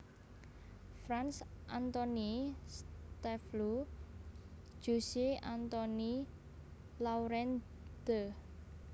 Frans Antonie Stafleu Jussieu Antoine Laurent De